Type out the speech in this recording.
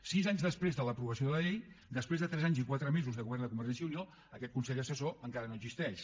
sis anys després de l’aprovació de la llei després de tres anys i quatre mesos de govern de convergència i unió aquest consell assessor encara no existeix